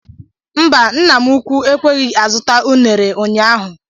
Mba nna mụ ụkwụ ekweghị azụta unere ụnyaahụ.